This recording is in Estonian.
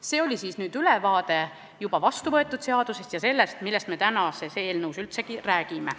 See oli ülevaade juba vastuvõetud seadusest ja sellest, millest me tänases eelnõus räägime.